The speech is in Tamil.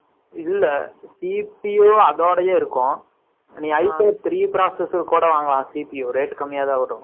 இல்லை. CPO , அதோடயே இருக்கும். நீ, I for three process கூட, வாங்கலாம். CPO , rate கம்மியாதான் வரும். ஆ, அதுக்கு அப்புறம், நீ, seven போடுறேன்னா, போட்டுக்கலாம்